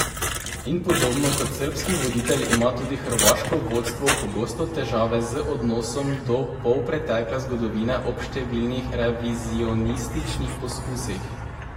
In podobno kot srbski voditelj ima tudi hrvaško vodstvo pogosto težave z odnosom do polpretekle zgodovine ob številnih revizionističnih poskusih.